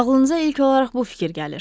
Ağlınıza ilk olaraq bu fikir gəlir.